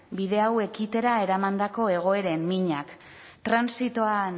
bide hau ekitera eramandako egoeren minak transitoan